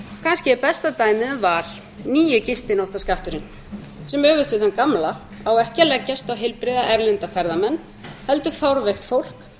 kannski er besta dæmið um val nýi gistináttaskatturinn sem öfugt við þann gamla á ekki að leggjast á heilbrigða erlenda ferðamenn heldur fárveikt fólk